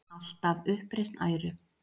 Alltaf uppreisn æru.